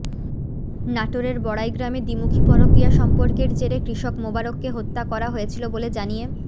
নাটোরের বড়াইগ্রামে দ্বিমুখী পরকীয়া সম্পর্কের জেরে কৃষক মোবারককে হত্যা করা হয়েছিল বলে জানিয়ে